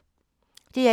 DR1